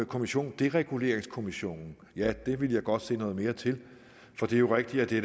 kommission dereguleringskommissionen ja det ville jeg godt se noget mere til for det er rigtigt at det